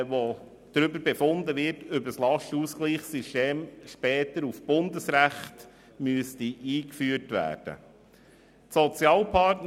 Es wird darüber befunden, ob das Lastenausgleichssystem später auf Ebene des Bundesrechts eingeführt werden müsste.